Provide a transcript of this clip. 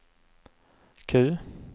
Q